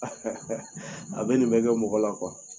a bɛ nin bɛɛ kɛ mɔgɔ la